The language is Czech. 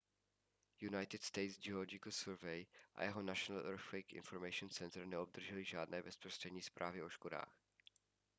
united states geological survey usgs a jeho national earthquake information center neobdržely žádné bezprostřední zprávy o škodách